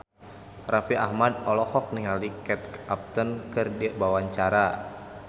Raffi Ahmad olohok ningali Kate Upton keur diwawancara